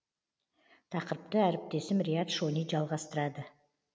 тақырыпты әріптесім риат шони жалғастырады